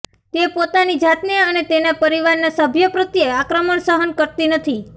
તે પોતાની જાતને અને તેના પરિવારના સભ્યો પ્રત્યે આક્રમણ સહન કરતી નથી